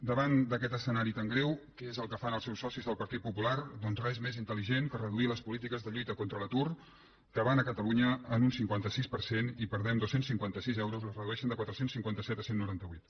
davant d’aquest escenari tan greu què és el que fan els seus socis del partit popular doncs res més intel·que reduir les polítiques de lluita contra l’atur que van a catalunya en un cinquanta sis per cent i perdem dos cents i cinquanta sis euros les redueixen de quatre cents i cinquanta set a cent i noranta vuit